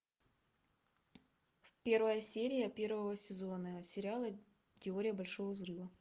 первая серия первого сезона сериала теория большого взрыва